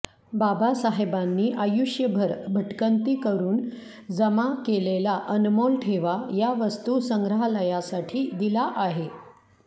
बाबासाहेबांनी आयुष्यभर भटकंती करून जमा केलेला अनमोल ठेवा या वस्तू संग्रहालयासाठी दिला आहे